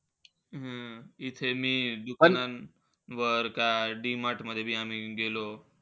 हम्म इथे बी दुकानात वर काय D-MART मध्ये आम्ही गेलो